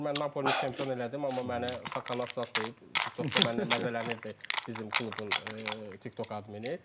Mən Napolini çempion elədim, amma məni kakon zadd deyib, TikTokda məndən məzələnirdi bizim klubun TikTok admini.